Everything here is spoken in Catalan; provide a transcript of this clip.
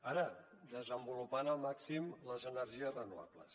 ara desenvolupant al màxim les energies renovables